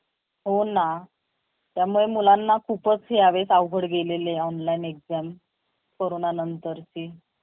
आपल्या संपूर्ण शरीरावर wildstone deodrant ने अभिषेक केला हनुवटी आणि गालावर Lotus चं तेल चोळलं shirt वर spray मारला आणि तयार झाला